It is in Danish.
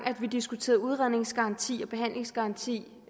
vi diskuterede udredningsgaranti og behandlingsgaranti